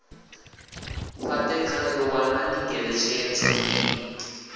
fhate khayo wanani ngeletshedzo i